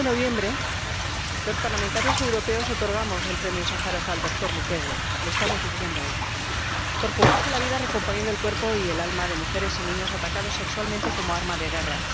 En el mes de noviembre, los parlamentarios europeos otorgamos el Premio Sájarov al doctor Mukwege lo estamos diciendo hoy por jugarse la vida recomponiendo el cuerpo y el alma de mujeres y niñas atacadas sexualmente como arma de guerra.